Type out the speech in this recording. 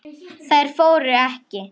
Þær fóru ekki.